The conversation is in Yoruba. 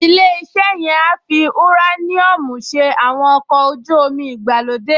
Ilé-iṣẹ́ yẹn á fi ùráníọ́ọ̀mù ṣe àwọn ọkọ̀ ojú-omi ìgbàlódé